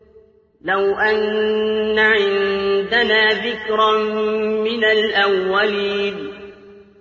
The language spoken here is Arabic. لَوْ أَنَّ عِندَنَا ذِكْرًا مِّنَ الْأَوَّلِينَ